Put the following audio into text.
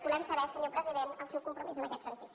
volem saber senyor president el seu compromís en aquest sentit